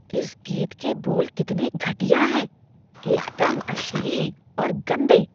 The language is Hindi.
इस गीत के बोल मुझे कितने घटिया हैं। एकदम अश्लील और गंदे।